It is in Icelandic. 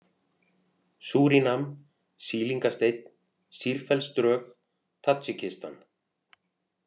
Súrínam, Sýlingasteinn, Sýrfellsdrög, Tadjikistan